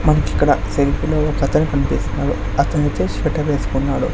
మనకిక్కడ సెల్ఫీ లో ఒకతను కన్పిస్తున్నాడు అతనొచ్చేసి స్వెటర్ వేసుకున్నాడు.